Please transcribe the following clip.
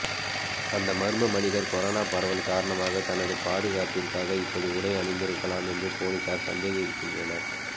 அந்த மர்ம மனிதர் கொரோனா பரவல் காரணமாக தனது பாதுகாப்பிற்காக இப்படி உடை அணிந்திருக்கலாம் என்று போலீசார் சந்தேகிக்கின்றனர்